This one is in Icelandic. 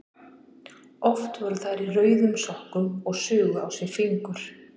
Oft voru þær í rauðum sokkum og sugu á sér fingur.